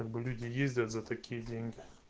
как бы люди ездят за такие деньги